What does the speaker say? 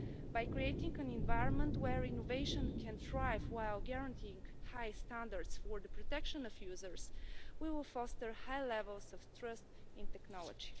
By creating an environment where innovation can thrive while guaranteeing high standards for the protection of users, we will foster high levels of trust in technology.